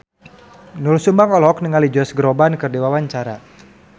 Doel Sumbang olohok ningali Josh Groban keur diwawancara